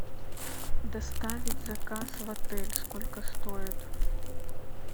доставить заказ в отель сколько стоит